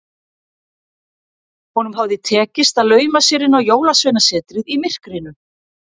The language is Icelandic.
Honum hafði tekist að lauma sér inn á Jólasveinasetrið í myrkrinu.